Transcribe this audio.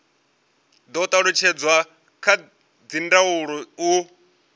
do talutshedzwa kha dzindaulo u